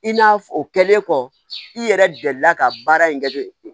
I n'a fɔ o kɛlen kɔ i yɛrɛ delila ka baara in kɛ ten